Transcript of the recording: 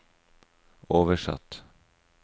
oversatt